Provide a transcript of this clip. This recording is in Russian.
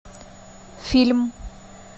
фильм